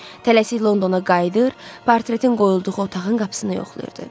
Tələsik Londona qayıdır, portretin qoyulduğu otağın qapısını yoxlayırdı.